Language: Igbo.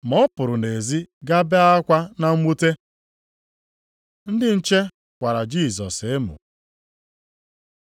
Ma ọ pụrụ nʼezi gaa bee akwa na mwute. Ndị nche kwara Jisọs emo